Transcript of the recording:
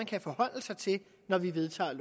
kan forholde sig til når vi vedtager